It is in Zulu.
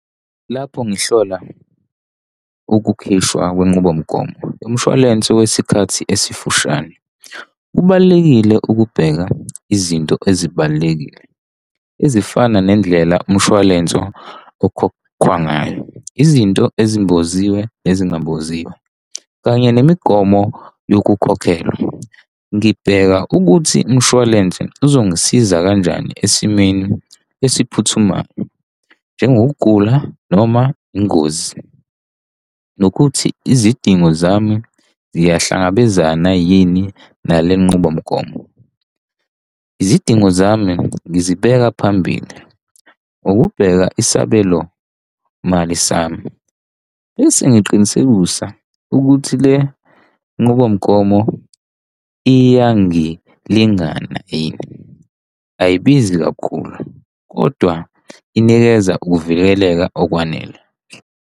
Lapho ngihlola ukukhishwa kwenqubomgomo, umshwalense wesikhathi esifushane, kubalulekile ukubheka izinto ezibalulekile ezifana nendlela umshwalense okhokhwa ngayo, izinto ezimboziwe ezingamboziwe kanye nemigomo yokukhokhelwa. Ngibheka ukuthi umshwalense uzongisiza kanjani esimeni esiphuthumayo njengokugula noma ingozi, nokuthi izidingo zami ziyahlangabezana yini nale nqubomgomo. Izidingo zami ngizibeka phambili. Ukubheka isabelomali sami bese ngiqinisekisa ukuthi le nqubomgomo iyangilingana yini? Ayibizi kakhulu kodwa inikeza ukuvikeleka okwanele.